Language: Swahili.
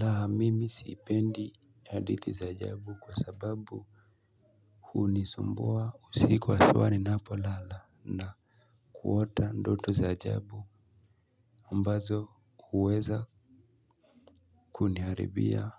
La, mimi sipendi hadithi za ajabu kwa sababu huni sumbua usiku haswa ninapo lala na kuota ndoto za ajabu ambazo huweza kuniharibia